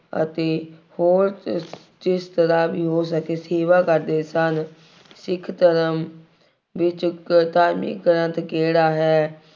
ਅਤੇ ਹੋਰ ਜਿਸ ਤਰ੍ਹਾ ਵੀ ਹੋ ਸਕੇ ਸੇਵਾ ਕਰਦੇ ਸਨ। ਸਿੱਖ ਧਰਮ ਵਿੱਚ ਧਾਰਮਿਕ ਗ੍ਰੰਥ ਕਿਹੜਾ ਹੈ।